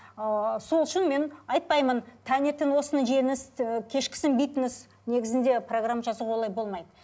ыыы сол үшін мен айтпаймын таңертең осыны жеңіз ы кешкісін бүйтіңіз негізінде программа жасауға олай болмайды